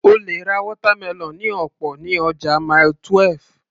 O lè ra watermelon ní ọ̀pọ̀ ní ọjà Mile 12